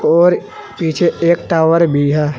और पीछे एक टावर भी है।